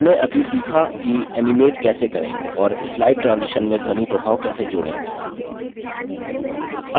हमने अभी सीखा कि एनिमेट कैसे करें और slide transition में ध्वनि प्रभाव कैसे जोड़ें